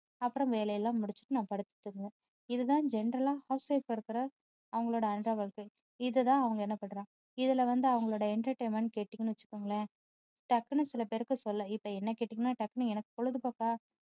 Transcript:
அப்பறம் வேலை எல்லாம் முடிச்சுட்டு நான் படுத்து தூங்குவேன் இதுதான் general ஆ housewife ஆ இருக்குற அவங்களோட அன்றாட வாழ்க்கை. இதை தான் அவங்க என்ன பண்றாங்க இதுல வந்து அவங்களோட entertainment கேட்டீங்கன்னு வச்சுக்கோங்களேன் டக்குன்னு சிலபேருக்கு சொல்ல இப்போ என்னை கேட்டிங்கன்னா டக்குன்னு எனக்கு பொழுதுபோக்கா